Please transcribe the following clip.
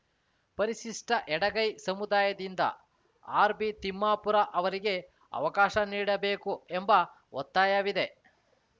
ಪರಿಶಿಷ್ಟಎಡಗೈ ಸಮುದಾಯದಿಂದ ಆರ್‌ಬಿ ತಿಮ್ಮಾಪುರ ಅವರಿಗೆ ಅವಕಾಶ ನೀಡಬೇಕು ಎಂಬ ಒತ್ತಾಯವಿದೆ